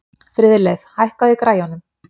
Friðleif, hækkaðu í græjunum.